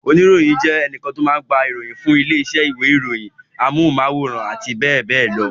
Oníròyìn jẹ́ ẹnìkan tó máa ń gba ìròyìn fún ilé-iṣẹ́ ìwé-ìròyìn, àwọn ilé-iṣẹ́ ẹ̀rọ amóhùmáwòhán àti bẹ́ẹ̀ bẹ́ẹ̀ lọ.